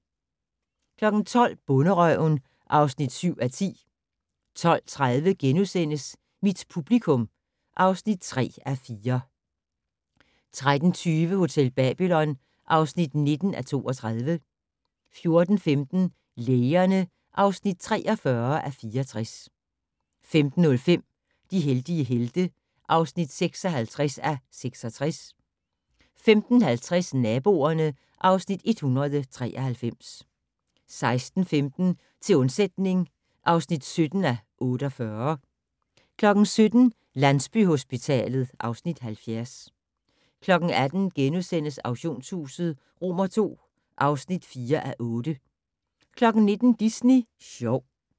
12:00: Bonderøven (7:10) 12:30: Mit publikum (3:4)* 13:20: Hotel Babylon (19:32) 14:15: Lægerne (43:64) 15:05: De heldige helte (56:66) 15:50: Naboerne (Afs. 193) 16:15: Til undsætning (17:48) 17:00: Landsbyhospitalet (Afs. 70) 18:00: Auktionshuset II (4:8)* 19:00: Disney Sjov